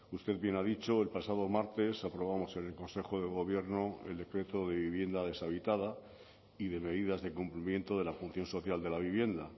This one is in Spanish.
usted bien ha dicho el pasado martes aprobamos en el consejo de gobierno el decreto de vivienda deshabitada y de medidas de cumplimiento de la función social de la vivienda